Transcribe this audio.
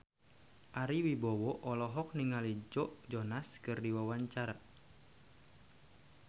Ari Wibowo olohok ningali Joe Jonas keur diwawancara